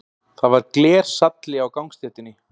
Það var glersalli á gangstéttinni.